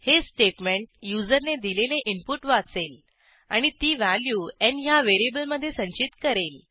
हे स्टेटमेंट युजरने दिलेले इनपुट वाचेल आणि ती व्हॅल्यू न् ह्या व्हेरिएबलमधे संचित करेल